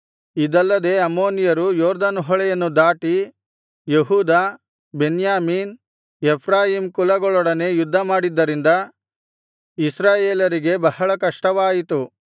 ಇದಲ್ಲದೆ ಅಮ್ಮೋನಿಯರು ಯೊರ್ದನ್ ಹೊಳೆಯನ್ನು ದಾಟಿ ಯೆಹೂದ ಬೆನ್ಯಾಮೀನ್ ಎಫ್ರಾಯೀಮ್ ಕುಲಗಳೊಡನೆ ಯುದ್ಧಮಾಡಿದ್ದರಿಂದ ಇಸ್ರಾಯೇಲರಿಗೆ ಬಹಳ ಕಷ್ಟವಾಯಿತು